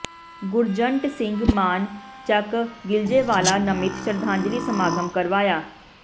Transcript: ਗੁਰਜੰਟ ਸਿੰਘ ਮਾਨ ਚੱਕ ਗਿਲਜੇਵਾਲਾ ਨਮਿਤ ਸ਼ਰਧਾਂਜਲੀ ਸਮਾਗਮ ਕਰਵਾਇਆ